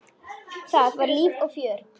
Það var líf og fjör.